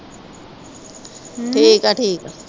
ਠੀਕ ਆ ਠੀਕ ਆ।